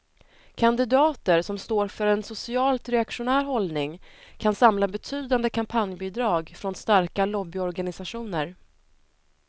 Kandidater som står för en socialt reaktionär hållning kan samla betydande kampanjbidrag från starka lobbyorganisationer.